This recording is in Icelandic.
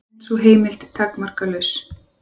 En er sú heimild takmarkalaus?